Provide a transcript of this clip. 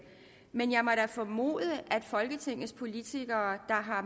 men jeg må da formode at folketingets politikere der har